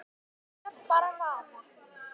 Lét bara vaða.